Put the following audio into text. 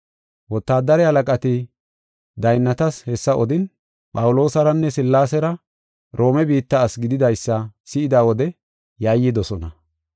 Wotaadare halaqati daynnatas hessa odin, Phawuloosaranne Sillaasera Roome biitta ase gididaysa si7ida wode yayyidosona.